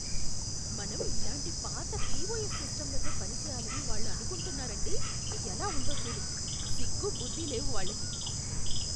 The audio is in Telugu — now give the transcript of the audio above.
మనం ఇలాంటి పాత పిఓఎస్ సిస్టంలతో పనిచేయాలని వాళ్ళు అనుకుంటున్నారంటే ఎలా ఉందో చూడు. సిగ్గు, బుద్ది లేవు వాళ్ళకి!